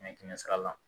Kɛmɛ kɛmɛ sara la